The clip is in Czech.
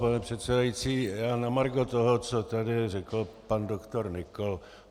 Pane předsedající, já na margo toho, co tady řekl pan doktor Nykl.